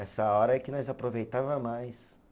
Essa hora é que nós aproveitava mais.